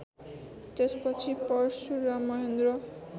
त्यसपछि परशुराम महेन्द्र